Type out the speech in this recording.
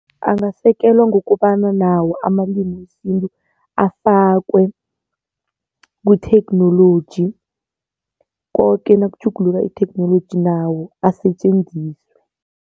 Angasekelwa ngokobana nawo amalimi wesintu afakwe kuthekhnoloji koke nakutjhuguluka itheknoloji nawo asetjenziswe.